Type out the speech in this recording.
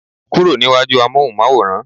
kúrò ní iwaju amohunmaworan